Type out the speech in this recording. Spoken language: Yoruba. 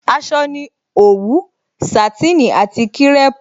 Aṣọ ni òwú, Sàtínì àti kírèpù